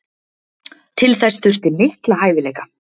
Til þess þurfti mikla hæfileika.